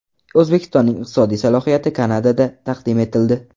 O‘zbekistonning iqtisodiy salohiyati Kanadada taqdim etildi.